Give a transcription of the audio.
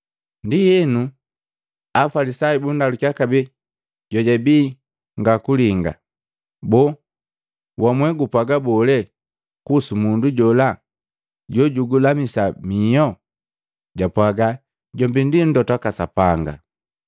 Ndienu Afalisayu bundalukiya kabee jojabi ngakulinga, “Boo wamwee gupwaga bole kuhusu mundu jola jojugukulamisa miho?” Japwaga, “Jombi ndi Mlota Sapanga.”